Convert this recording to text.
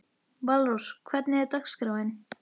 Valrós, hvernig er dagskráin?